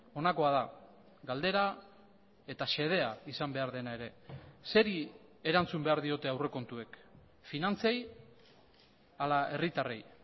honakoa da galdera eta xedea izan behar dena ere zeri erantzun behar diote aurrekontuek finantzei ala herritarrei